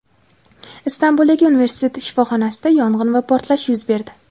Istanbuldagi universitet shifoxonasida yong‘in va portlash yuz berdi.